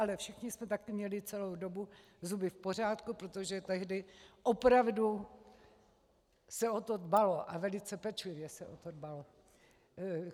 Ale všichni jsme taky měli celou dobu zuby v pořádku, protože tehdy opravdu se o to dbalo, a velice pečlivě se o to dbalo.